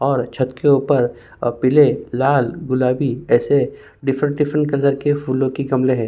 और छत के ऊपर अ पीले लाल गुलाबी ऐसे डिफ्रन्ट डिफ्रन्ट कलर के फूलों के गमले हैं।